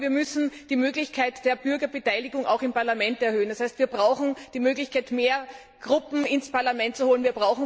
Aber wir müssen die Möglichkeit der Bürgerbeteiligung auch im Parlament erhöhen. Das heißt, wir brauchen die Möglichkeit, mehr Gruppen ins Parlament zu holen.